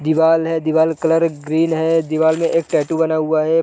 दीवाल है दीवाल का कलर ग्रीन है दीवाल में एक टैटू बना हुआ है।